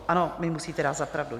Ano, mi musíte dát za pravdu.